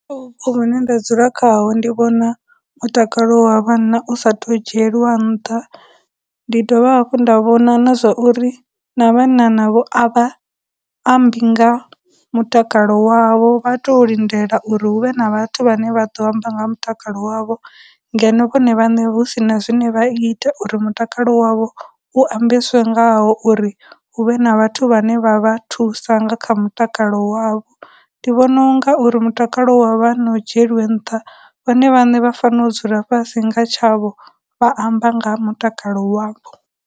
Hune nda dzula khaho ndi vhona mutakalo wa vhanna usathu dzhieliwa nṱha, ndi dovha hafhu nda vhona na zwa uri na vhanna navho a vha ambi nga mutakalo wavho, vha tou lindela uri hu vhe na vhathu vhane vha ḓo amba nga ha mutakalo wavho, ngeno vhone vhaṋe hu sina zwine vha ita uri mutakalo wavho u ambeswe ngawo uri huvhe na vhathu vhane vha vha thusa nga kha mutakalo wavho, ndi vhona u nga uri mutakalo wa vhanna dzhieliwe nṱha, vhone vhaṋe vha fanela u dzula fhasi nga tshavho vha amba nga mutakalo wavho.